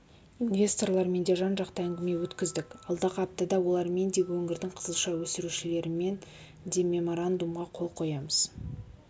инвесторлармен жан жақты әңгіме өткіздік алдағы аптада олармен де өңірдің қызылша өсірушілерімен де меморандумға қол қоямыз